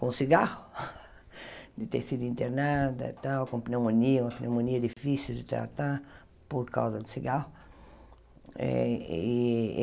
com cigarro, de ter sido internada e tal, com pneumonia, uma pneumonia difícil de tratar por causa do cigarro. Eh e